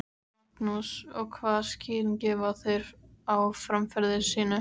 Magnús: Og hvaða skýringu gefa þeir á framferði sínu?